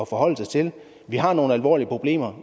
forholde sig til vi har nogle alvorlige problemer